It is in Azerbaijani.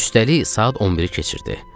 Üstəlik saat 11-i keçirdi.